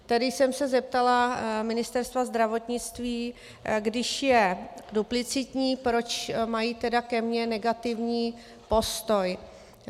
Tedy jsem se zeptala Ministerstva zdravotnictví, když je duplicitní, proč mají tedy ke mně negativní postoj.